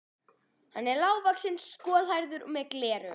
Hann var lágvaxinn, skolhærður, með gleraugu.